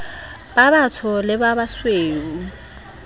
ba batsho le ba basweu